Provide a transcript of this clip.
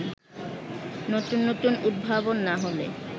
নতুন নতুন উদ্ভাবন না হলে